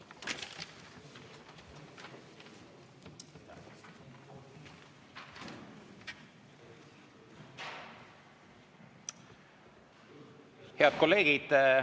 Head kolleegid!